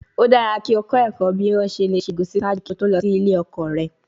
O dara ki o kọ ẹkọ bi o ṣe le ṣe egusi ṣaaju ki o to lọ si ile ọkọ rẹ